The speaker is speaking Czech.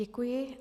Děkuji.